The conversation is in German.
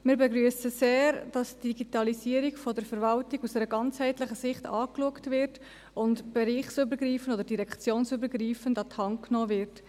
Wir begrüssen sehr, dass die Digitalisierung der Verwaltung aus einer ganzheitlichen Sicht angeschaut und bereichs- oder direktionsübergreifend an die Hand genommen wird.